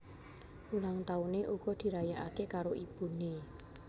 Ulang tauné uga dirayakaké karo ibuné